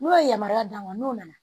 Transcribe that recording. N'o ye yamaruya d'an ma n'o nana